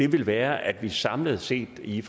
vil være at vi samlet set i